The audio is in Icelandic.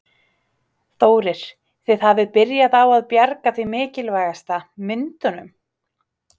Þórir: Þið hafið byrjað á að bjarga því mikilvægasta, myndunum?